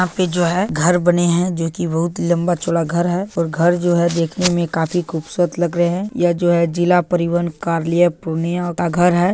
यहां पे जो है घर बने है जो की बहोत लम्बा-चौड़ा घर है और घर जो है देखनें में काफी खूबसूरत लग रहे हैं यह जो है जिला परिवहन कार्यालय पूर्णिया का घर है।